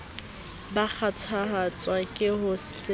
ba kgathatswa ke ho se